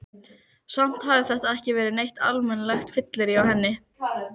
Samt hafði þetta ekki verið neitt almennilegt fyllirí á henni.